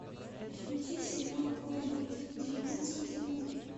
включи сериал корни девятнадцатый сезон